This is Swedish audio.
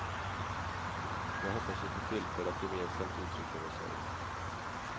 Jag hoppas vi får tillfälle att gemensamt uttrycka vår sorg.